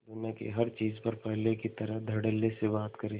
दुनिया की हर चीज पर पहले की तरह धडल्ले से बात करे